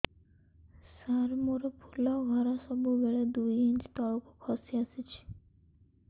ସାର ମୋର ଫୁଲ ଘର ସବୁ ବେଳେ ଦୁଇ ଇଞ୍ଚ ତଳକୁ ଖସି ଆସିଛି